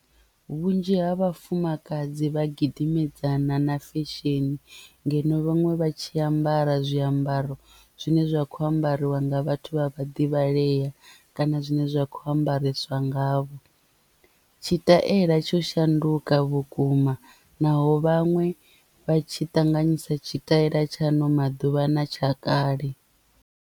Vhunzhi ha vhafumakadzi vha gidimedzana na fesheni ngeno vhaṅwe vha tshi ambara zwiambaro zwine zwa kho ambariwa nga vhathu vha vhaḓivhalea kana zwine zwa kho ambarisa nga vho. Tshitaela tsho shanduka vhukuma naho vhaṅwe vha tshi ṱanganyisa tshitaela tsha ano maḓuvha na tsha kale.